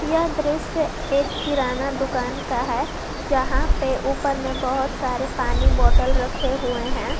यह दृश्य एक किराना दुकान का है जहां पे ऊपर में बहोत सारे पानी बोटल रखे हुए हैं।